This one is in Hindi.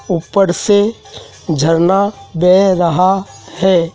ऊपर से झरना बेह रहा है।